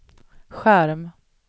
skärm